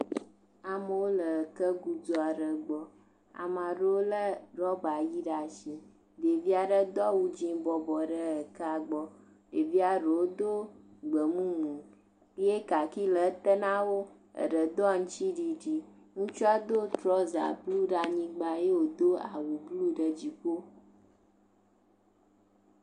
Ama ɖewo le ekegudzu aɖe gbɔ. Ama ɖewo lé rɔɔba yi ɖe ashi. Ɖevi aɖewo do awu dzɛ̃ bɔbɔ ɖe ekea gbɔ. Ɖevia ɖewo do gbemumu ye kaaki le eté na wo. Eɖe do aŋtsiɖiɖi. Ŋutsua do trɔza blu ɖe anyigba ye wòdo awu blu ɖe dziƒo.